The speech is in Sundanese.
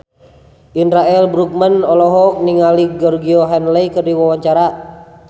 Indra L. Bruggman olohok ningali Georgie Henley keur diwawancara